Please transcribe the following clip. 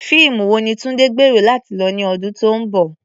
Fíìmù wo ni Tunde gbèrò láti lọ ní ọdún tó ń bọ̀?